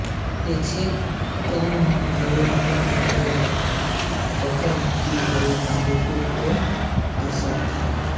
ये छः कोने ग्वालियर अभियान के दौरान ज़ब्त की गई बंदूकों को दर्शाते हैं